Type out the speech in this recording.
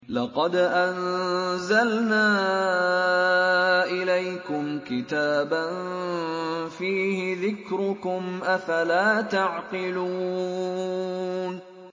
لَقَدْ أَنزَلْنَا إِلَيْكُمْ كِتَابًا فِيهِ ذِكْرُكُمْ ۖ أَفَلَا تَعْقِلُونَ